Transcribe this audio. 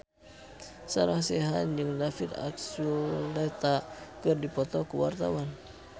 Sarah Sechan jeung David Archuletta keur dipoto ku wartawan